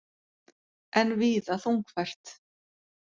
Enn víða þungfært